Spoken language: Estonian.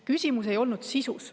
Küsimus ei olnud sisus.